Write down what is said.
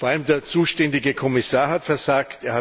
Vor allem der zuständige Kommissar hat versagt.